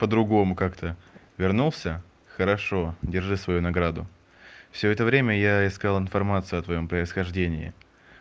по-другому как-то вернулся хорошо держи свою награду всё это время я искал информацию о твоём происхождении